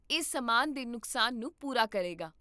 ਇਹ ਸਮਾਨ ਦੇ ਨੁਕਸਾਨ ਨੂੰ ਪੂਰਾ ਕਰੇਗਾ